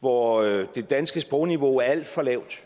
hvor det danske sprogniveau er alt for lavt